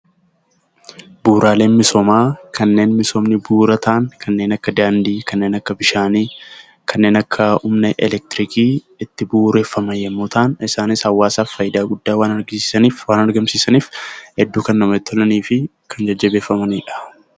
Bu'uraaleen misoomaa kanneen misoomni bu'uura ta'an, kanneen akja daandii, kanneen akka bishaanii, kanneen akka humna elektiriikii itti bu'uureffaman yommuu ta'an, isaanis hawaasaaf faayidaa guddaa waan argamsiisaniif hedduu kan namatti tolanii fi kan jajjabeeffamani dha.